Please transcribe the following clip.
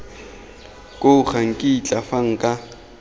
koo ga nkitla fa nka